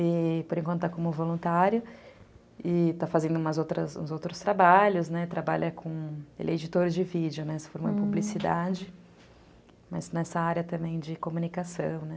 e por enquanto está como voluntário e está fazendo uns outros trabalhos, trabalha como editor de vídeo, né, se for uma publicidade, mas nessa área também de comunicação.